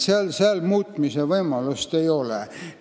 Seal muutmise võimalust ei ole.